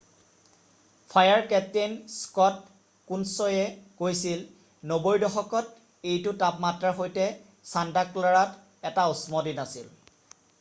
"fire captain Scott কুনছয়ে কৈছিল "90ৰ দশকত এইটো তাপমাত্ৰাৰ সৈতে ছান্তা ক্লাৰাত এটা উষ্ম দিন আছিল৷""